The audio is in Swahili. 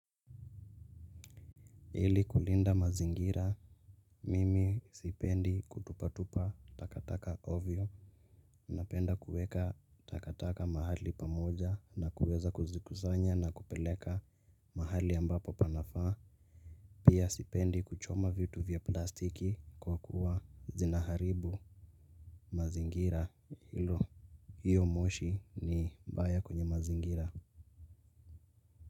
Ili kulinda mazingira, mimi sipendi kutupatupa takataka ovyo. Napenda kuweka takataka mahali pamoja na kuweza kuzikusanya na kupeleka mahali ambapo panafaa. Pia sipendi kuchoma vitu vya plastiki kwa kuwa zinaharibu mazingira hilo. Hiyo moshi ni mbaya kwenye mazingira.